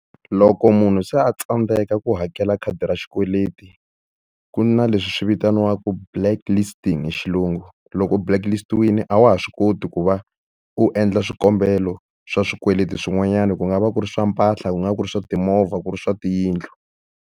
Loko munhu se a tsandzeka ku hakela khadi ra xikweleti, ku na leswi swi vitaniwaku blacklisting hi xilungu. Loko u blacklist-wile a wa ha swi koti ku va u endla swikombelo swa swikweleti swin'wanyana, ku nga va ku ri swa mpahla, ku nga va ku ri swa timovha, ku ri swa tiyindlu.